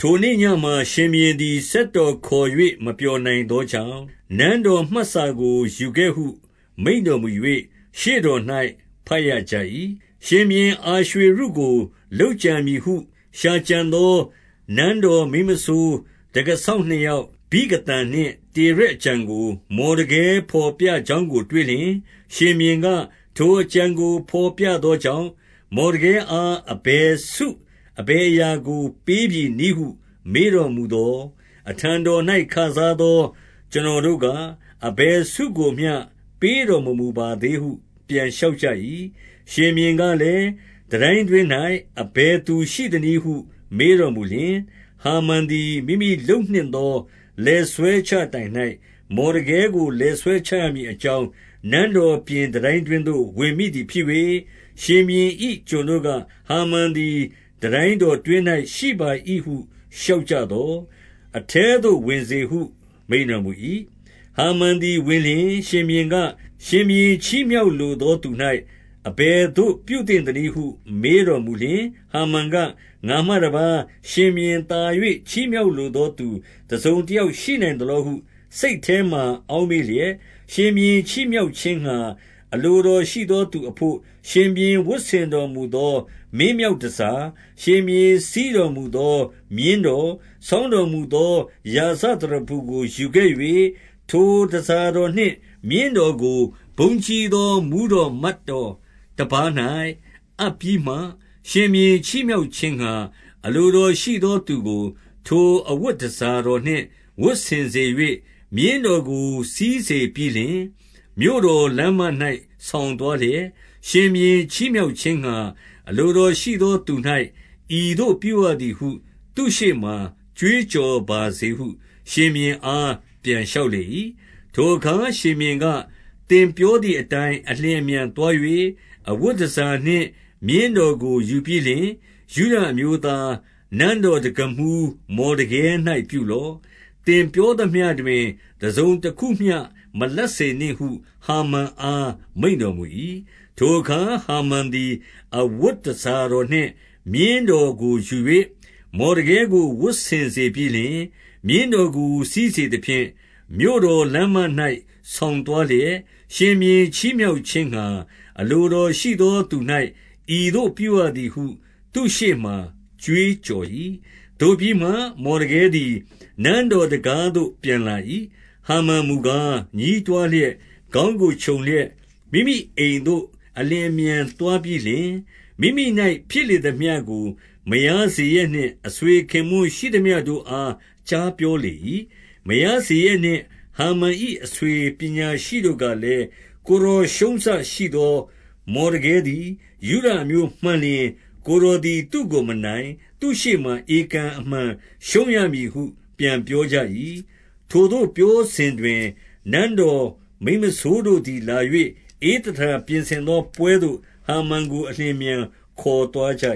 ထိုနေ့ညမှာ ရှင်ဘုရင်သည် စက်တော်ခေါ်၍ မပျော်နိုင်သောကြောင့်၊ နန်းတော်မှတ်စာကို ယူခဲ့ဟု မိန့်တော်မူ၍ ရှေ့တော်၌ ဘတ်ရကြ၏။ ရှင်ဘုရင် အာရွှေရုကို လုပ်ကြံမည်ဟု ရှာကြံ သော နန်းတော်မိန်းမစိုး၊ တံခါးစောင့်နှစ်ယောက်၊ ဗိဂသန်နှင့် တေရက်အကြံကို မော်ဒကဲ ဘော်ပြကြောင်း ကိုတွေ့လျှင်၊ ရှင်ဘုရင်က၊ ထိုအကြံကို ဘော်ပြသောကြောင့်၊ မော်ဒကဲအား အဘယ်ဆုအဘယ်အရာကို ပေးပြီနည်းဟု မေးတော်မူသော်၊ အထံတော်၌ ခစားသော ကျွန်တော်တို့ က၊ အဘယ်ဆုကို၏မျှ ပေးတော်မမူပါသေးဟု ပြန် လျှောက်ကြ၏။ ရှင်ဘုရင်ကလည်း၊ တန်တိုင်းတွင်း၌ အဘယ်သူ ရှိသနည်းဟု မေးတော်မူလျှင်၊ ဟာမန်သည် မိမိလုပ်နှင့် သော လည်ဆွဲချတိုင်၌ မော်ဒကဲကို လည်ဆွဲချရမည် အကြောင်း၊ နန်းတော်ပြင် တန်တိုင်းတွင်းသို့ ဝင်မိသည် ဖြစ်၍၊ ရှင်ဘုရင်၏ ကျွန်တို့က၊ ဟာမန်သည် တန်တိုင်း တော်တွင်း၌ရှိပါ၏ဟု လျှောက်ကြသော်၊ အထဲသို့ ဝင်စေ ဟု မိန့်တော်မူ၏။ ဟာမန်သည်ဝင်လျှင် ရှင်ဘုရင်က၊ ရှင်ဘုရင် ချီးမြှောက်လိုသော သူ၌ အဘယ်သို့ပြုသင့်သနည်းဟု မေးတော်မူလျှင်၊ ဟာမန်က ငါမှတပါး၊ ရှင်ဘုရင်သာ၍ ချီးမြှောက်လိုသောသူ တစုံတယောက်ရှိနိုင်သလောဟု စိတ်ထဲမှာ အောက်မေ့လျက်၊ ရှင်ဘုရင်ချီးမြှောက်ခြင်းငှါ အလိုတော်ရှိသော သူအဘို့၊ ရှင်ဘုရင် ဝတ်ဆင်တော်မူသော မင်းမြောက် တန်ဆာ၊ ရှင်ဘုရင်စီးတော်မူသော မြင်းတော်၊ ဆောင်း တော်မူသော ရာဇသရဖူကို ယူခဲ့၍၊ ထိုတန်ဆာတော်နှင့် မြင်းတော်ကို ဘုန်းကြီး သောမှူးတော်မတ်တော်တပါး၌ အပ်ပြီးမှ၊ ရှင်ဘုရင် ချီးမြှောက်ခြင်းငှါ၊ အလိုတော်ရှိသော သူကို ထိုအဝတ် တန်ဆာတော်နှင့် ဝတ်ဆင်စေ၍၊ မြင်းတော်ကို စီးစေပြီး လျှင်၊ မြို့တော်လမ်းမ၌ ဆောင်သွားလျက်၊ ရှင်ဘုရင် ချီးမြှောက်ခြင်းငှါ အလိုတော်ရှိသောသူ၌ ဤသို့ပြုရသည် ဟု သူ့ရှေ့မှာ ကြွေးကြော်ပါစေဟု ရှင်ဘုရင်အား ပြန် လျှောက်လေ၏။ ထိုအခါ ရှင်ဘုရင်က၊ သင်ပြောသည်အတိုင်း အလျင်အမြန်သွား၍၊ အဝတ်တန်ဆာနှင့် မြင်းတော်ကို ယူပြီးလျှင်၊ ယုဒအမျိုးသား၊ နန်းတော်တံခါးမှူး မော်ဒကဲ၌ ပြုလော့။ သင်ပြောသမျှတွင်၊ တစုံတခုမျှမလပ်စေနှင့်ဟု ဟာမန်အား မိန့်တော်မူ၏။ ထိုအခါ ဟာမန်သည် အဝတ်တန်ဆာတော်နှင့် မြင်းတော်ကို ယူ၍၊ မော်ဒကဲကို ဝတ်ဆင်စေပြီးလျှင်၊ မြင်းတော်ကိုစီးစေသဖြင့်၊ မြို့တော်လမ်းမ၌ ဆောင်သွား လျက် ရှင်ဘုရင်ချီးမြှောက်ခြင်းငှါ အလိုတော်ရှိသော သူ၌ ဤသို့ပြုရသည်ဟု သူ့ရှေ့မှာ ကြွေးကြော်၏။ သို့ပြီးမှ၊ မော်ဒကဲသည် နန်းတော်တံခါးသို့ ပြန်လာ၏။ ဟာမန်မူကား ညည်းတွားလျက် ခေါင်းကို ခြုံလျက်၊ မိမိအိမ်သို့ အလျင်အမြန်သွား ပြီးလျှင်၊ မိမိ၌ဖြစ်လေသမျှကို မယားဇရက်နှင့် အဆွေ ခင်ပွန်းရှိသမျှတို့အား ကြားပြောလေ၏။ မယားဇေရက် နှင့် ဟာမန်၏ အဆွေပညာရှိတို့ကလည်း၊ ကိုယ်တော် ရှုံးစရှိသော မော်ဒကဲသည်၊ ယုဒအမျိုးမှန်လျှင်၊ ကိုယ် တော်သည် သူ့ကိုမနိုင်။ သူ့ရှေ့မှာ ဧကန်အမှန်ရှုံးရမည် ဟု ပြန်ပြောကြ၏။ ထိုသို့ပြောဆိုစဉ်တွင်၊ နန်းတော်မိန်းမစိုးတို့သည် လာ၍ ဧသတာပြင်ဆင်သောပွဲသို့ ဟာမန်ကို အလျင် အမြန် ခေါ်သွားကြ